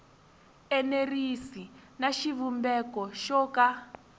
enerisi na xivumbeko xo ka